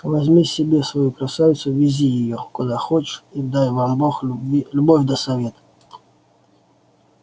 возьми себе свою красавицу вези её куда хочешь и дай вам бог любви любовь да совет